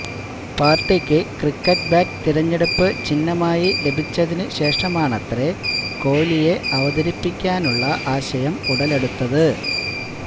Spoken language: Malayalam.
പാര്ട്ടിക്ക് ക്രിക്കറ്റ് ബാറ്റ് തെരഞ്ഞെടുപ്പ് ചിഹ്്നമായി ലഭിച്ചതിനുശേഷമാണത്രെ കോലിയെ അവതിരിപ്പിക്കാനുള്ള ആശയം ഉടലെടുത്തത്